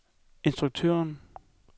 instruktøren